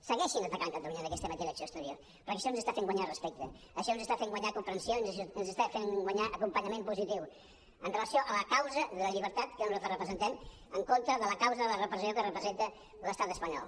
segueixin atacant catalunya en aquesta matèria d’acció exterior perquè això ens està fent guanyar respecte això ens està fent guanyar comprensió ens està fent guanyar acompanyament positiu amb relació a la causa de la llibertat que nosaltres representem en contra de la causa de la repressió que representa l’estat espanyol